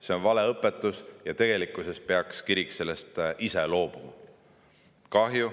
See on valeõpetus ja kirik peaks sellest ise loobuma.